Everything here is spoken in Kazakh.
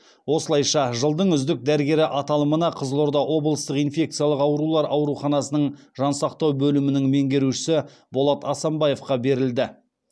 осылайша жылдың үздік дәрігері аталымында қызылорда облыстық инфекциялық аурулар ауруханасының жансақтау бөлімінің меңгерушісі болат асанбаевқа берілді